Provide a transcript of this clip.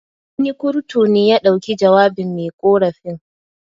Wani kurtu ne ya dauki jawabin me ƙorafin.